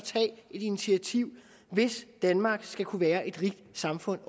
et initiativ hvis danmark også skal kunne være et rigt samfund